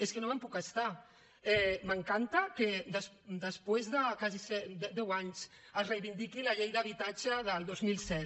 és que no me’n puc estar m’encanta que després de gairebé deu anys es reivindiqui la llei d’habitatge del dos mil set